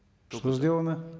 что сделана